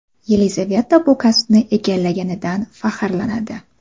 Yelizaveta bu kasbni egallaganidan faxrlanadi.